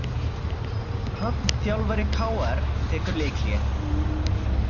Hrafn þjálfari KR tekur leikhlé